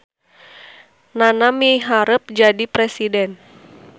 Nana miharep jadi presiden